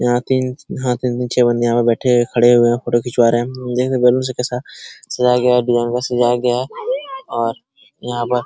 यहाँ तीन हाँ तीन तीन छे | बंदे यहाँ पे बैठे हैं खड़े हुए हैं फोटो खिंचवा रहे हैं | अम्म देख रहे हैं बैलून से कैसा सजाया गया है डिजाइन से सजाया गया है और यहाँ पर --